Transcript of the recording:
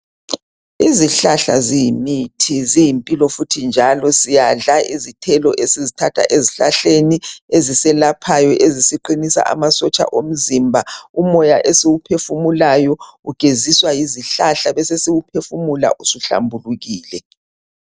Izihlahla ziyimithi, ziyimpilo njalo siyadla izithelo esizithatha ezihlahkeni eziselaphayo ezisiqinisa amasotsha omzimba. Umoya esiwuphefumulayo ugeziswa yizihlahla besesiwuphefumula usuhlambulukile.